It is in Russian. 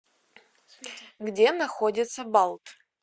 где находится балт